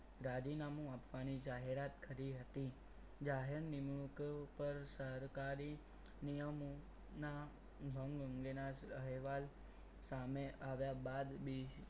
રાજીનામું આપવાની જાહેરાત કરી હતી જાહેર નિમણુક પર સરકારી નિયમોના હું અંગેના અહેવાલ સામે આવ્યા બાદ બી